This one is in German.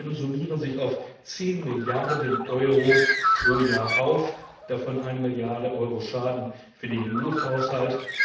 Diese Schäden summieren sich auf 10 Milliarden EUR pro Jahr, davon 1 Milliarde EUR Schaden für den EU Haushalt.